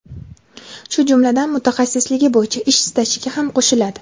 shu jumladan mutaxassisligi boʼyicha ish stajiga ham qoʼshiladi.